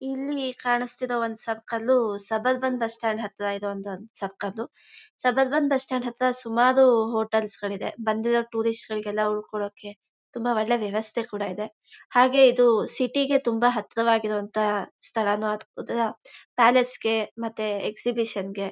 ಇಲ್ಲಿ ಕಾಣಿಸುತ್ತಿರುವ ಒಂದು circle suburban bus stand ಹತ್ತಿರ ಇರುವ ಒಂದು circle. Suburban bus stand ಹತ್ತಿರ ಸುಮ್ಮಾರು ಹೋಟೆಲ್ ಸ್ಗಳಿವೆ. ಬಂದಿರೋ ಟೂರಿಸ್ಟ್ ಗಳಿಗೆಲ್ಲ ಉಳಕೊಳ್ಳೋಕ್ಕೆ ತುಂಬಾ ಒಳ್ಳೆ ವ್ಯವಸ್ಥೆ ಕೂಡ ಇದೆ. ಹಾಗೆ ಇದು ಸಿಟಿಗೆ ತುಂಬಾ ಹತ್ತಿರವಾಗಿರುವಂತಹ ಸ್ಥಳಾನು ಆಗಬಹುದುಲ್ಲ ಪ್ಯಾಲೇಸ್ಗೆ ಮತ್ತೆ ಎಕ್ಸಿಬಿಷನ್ಗೆ .